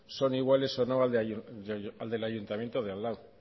son iguales a o no al del ayuntamiento de al lado